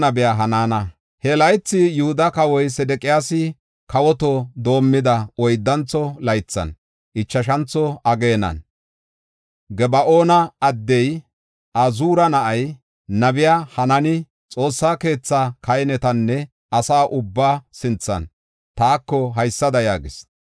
He laythi, Yihuda kawoy Sedeqiyaasi kawoto doomida oyddantho laythan, ichashantho ageenan Gaba7oona addey, Azuura na7ay nabey Hanaani, Xoossa keethan kahinetanne asa ubbaa sinthan taako haysada yaagis: